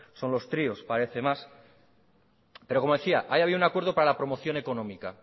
son los tríos parece más pero como decía ahí había un acuerdo para la promoción económica